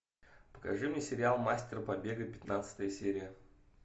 покажи мне сериал мастер побега пятнадцатая серия